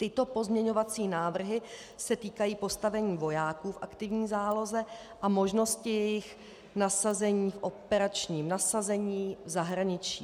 Tyto pozměňovací návrhy se týkají postavení vojáků v aktivní záloze a možnosti jejich nasazení v operačním nasazení v zahraničí.